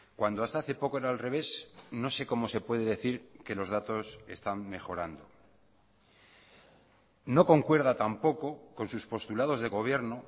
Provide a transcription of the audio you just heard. cuando hasta hace poco era al revés no sé cómo se puede decir que los datos están mejorando no concuerda tampoco con sus postulados de gobierno